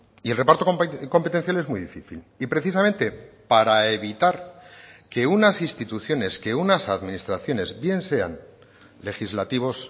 y el reparto competencial es muy difícil y precisamente para evitar que unas instituciones que unas administraciones bien sean legislativos